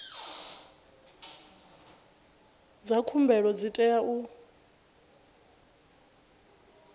dza khumbelo dzi tea u